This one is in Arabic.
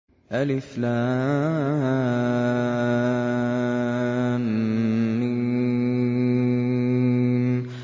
الم